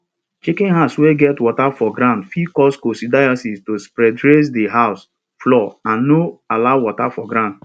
chicken house wey get water for ground fit cause coccidiosis to spreadraise the house floor and no allow water for ground